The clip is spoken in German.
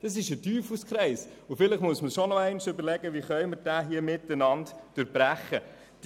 Das ist ein Teufelskreis, und vielleicht muss man sich noch einmal überlegen, wie wir diesen miteinander durchbrechen können.